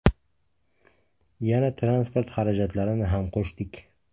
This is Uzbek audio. Yana transport xarajatlarini ham qo‘shdik.